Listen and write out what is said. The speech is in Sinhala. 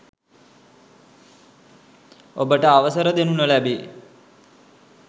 ඔබට අවසරදෙනු නොලැබේ